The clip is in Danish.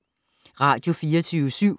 Radio24syv